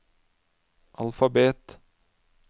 alfabet